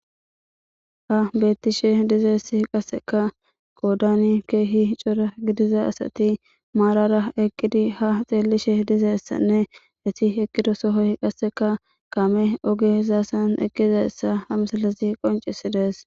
Ha beettishe dizayssi qasseka qoodani keehi cora gidiza asati maarara eqqidi ha xeellishe dizayssanne eti eqqido sohoy qasseka kaame oge zaasan eqqizayssa ha misilezi qoncisides.